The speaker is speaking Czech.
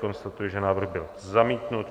Konstatuji, že návrh byl zamítnut.